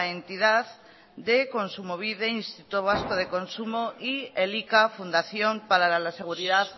entidad de kontsumobide instituto vasco de consumo y elika fundación para la seguridad